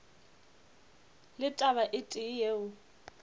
le taba e tee yeo